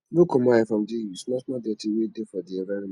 no comot eye from di small small dirty wey dey for di environment